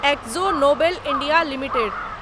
exo Nobel India limited